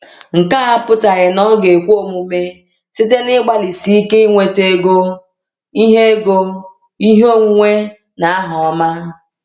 Nke a apụtaghị na ọ ga-ekwe omume site n’ịgbalịsi ike inweta ego, ihe ego, ihe onwunwe, na aha ọma.